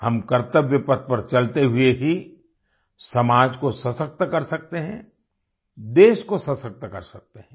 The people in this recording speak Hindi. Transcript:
हम कर्त्तव्य पथ पर चलते हुए ही समाज को सशक्त कर सकते हैं देश को सशक्त कर सकते हैं